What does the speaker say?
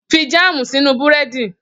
Fi jáàmù sínú Búrẹ́dì!